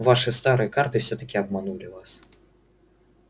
ваши старые карты всё-таки обманули вас